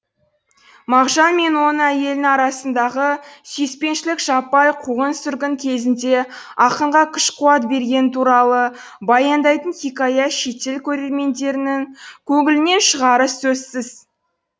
мағжан мен оның әйелін арасындағы сүйіспеншілік жаппай қуғын сүргін кезінде ақынға күш қуат бергені туралы баяндайтын хикая шетел көрермендерінің көңілінен шығары сөзсіз